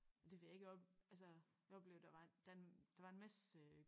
Det ved jeg ikke op altså jeg oplevede der var der der var en masse